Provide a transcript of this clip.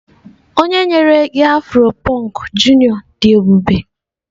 onye nyere gi afro punk junior di ebube?